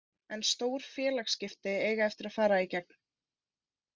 En stór félagsskipti eiga eftir að fara í gegn.